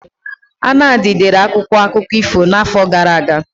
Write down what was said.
Anadi dere akwụkwọ akụkọ ifo n'afọ gara aga.